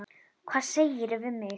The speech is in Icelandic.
Hvað segirðu við mig?